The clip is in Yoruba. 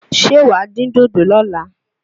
Ṣé wàá dín dòdò lọ́la?